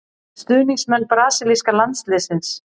Stuðningsmenn brasilíska landsliðsins.